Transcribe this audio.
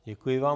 Děkuji vám.